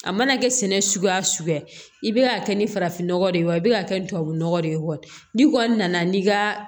A mana kɛ sɛnɛ suguya o suguya i be ka kɛ ni farafinnɔgɔ de ye wa i bɛ ka kɛ tubabunɔgɔ de ye wa n'i kɔni nana n'i ka